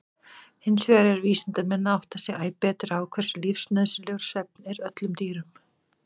Hinsvegar eru vísindamenn að átta sig æ betur á hversu lífsnauðsynlegur svefn er öllum dýrum.